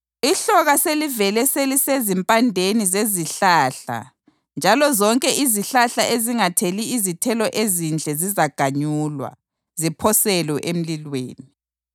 Ihloka selivele selisezimpandeni zezihlahla njalo zonke izihlahla ezingatheli izithelo ezinhle zizaganyulwa, ziphoselwe emlilweni.